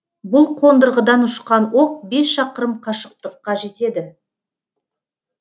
бұл қондырғыдан ұшқан оқ бес шақырым қашықтыққа жетеді